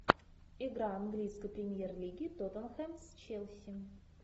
игра английской премьер лиги тоттенхэм с челси